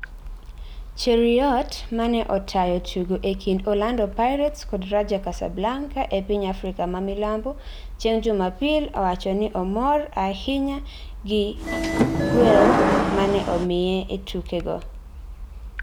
Cheruoiyot mane otayo tugo e kind Orlando Pirates kod Raja Casablanca e piny Afrika ma Milambo chieng jumapil owachoni omora ahinya g igwel mane omiye e tuke go